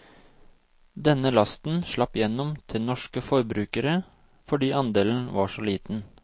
Denne lasten slapp gjennom til norske forbrukere, fordi andelen var så liten.